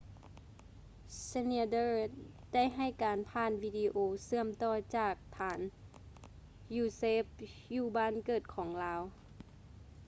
schneider ໄດ້ໃຫ້ການຜ່ານວີດີໂອເຊື່ອມຕໍ່ຈາກຖານ usaf ຢູ່ບ້ານເກີດຂອງລາວ